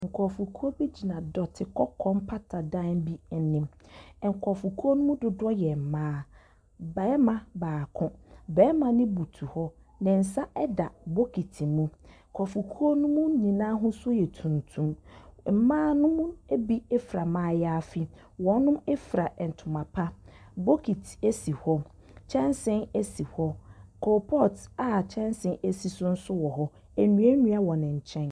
Nkrɔfokuo bi gyina dɔte kɔkɔɔ mpata dan bi ɛnim. Ɛnkrɔfokuo no duduɔ yɛ ɛmmaa. Bɛɛma baako, bɛɛma no butu hɔ, nensa ɛda bokiti mu. Nipakuo no nyinaa ahusuo yɛ tuntum. Mmaa nom bi efura maayafi. Wɔnom efura ɛntoma pa. Bokiti esi hɔ, kyɛnsii esi hɔ, kulpɔt a kyɛnsii si so nso wɔ hɔ, enuanua wɔ nenkyɛn.